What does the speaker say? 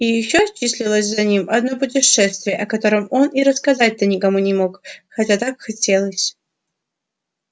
и ещё числилось за ним одно путешествие о котором он и рассказать-то никому не мог хотя так хотелось